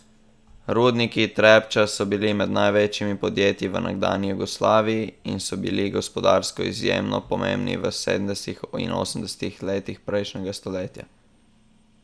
Rudniki Trepča so bili med največjimi podjetji v nekdanji Jugoslaviji in so bili gospodarsko izjemno pomembni v sedemdesetih in osemdesetih letih prejšnjega stoletja.